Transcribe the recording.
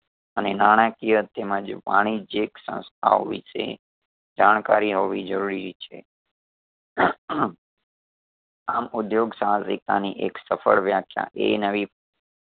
અને નાણાકીય તેમજ વાણિજ્યક સંસ્થાઓ વિષે જાણકારી હોવી જરૂરી છે આમ ઉધ્યોગ સહસિક્તાની એક સફળ વ્યાખ્યા એ નવી